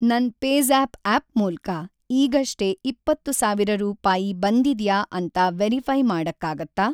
ನನ್‌ PayZapp app ಮೂಲ್ಕ ಈಗಷ್ಟೇ ಇಪ್ಪತ್ತು ಸಾವಿರ ರೂಪಾಯಿ ಬಂದಿದ್ಯಾ ಅಂತ ವೆರಿಫೈ಼ ಮಾಡಕ್ಕಾಗತ್ತಾ?